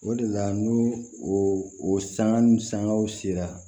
O de la n'u o sanga ni sangaw sera